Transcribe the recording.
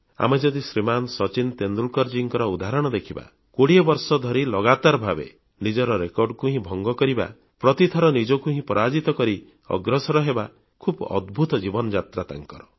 ଆମେ ଯଦି ଶ୍ରୀମାନ୍ ସଚିନ ତେନ୍ଦୁଲକରଜୀଙ୍କର ଉଦାହରଣ ଦେଖିବା କୋଡ଼ିଏ ବର୍ଷ ଧରି ଲଗାତାର ଭାବେ ନିଜର ରେକର୍ଡ଼କୁ ହିଁ ଭଙ୍ଗ କରିବା ପ୍ରତିଥର ନିଜକୁ ହିଁ ପରାଜିତ କରି ଅଗ୍ରସର ହେବା ଖୁବ୍ ଅଦ୍ଭୁତ ଜୀବନଯାତ୍ରା ତାଙ୍କର